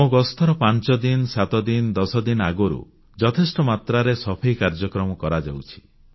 ମୋ ଗସ୍ତର ପାଂଚଦିନ ସାତଦିନ ଦଶଦିନ ଆଗରୁ ଯଥେଷ୍ଟ ମାତ୍ରାରେ ସଫେଇ କାର୍ଯ୍ୟକ୍ରମ କରାଯାଉଛି